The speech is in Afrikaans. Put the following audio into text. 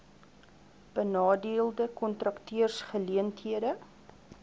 benadeelde kontrakteurs geleenthede